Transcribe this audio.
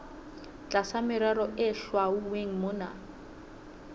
tlasa merero e hlwauweng mona